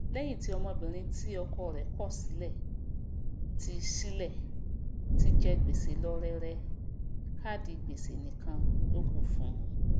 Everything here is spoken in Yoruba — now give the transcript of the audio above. léyìn tí ọmọbìrin tí ọkọ rè kò sílè ti sílè ti jẹ gbèsè lọ rẹrẹ káàdì gbèsè nìkan lókù fún u